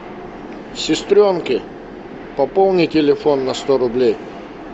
сестренке пополни телефон на сто рублей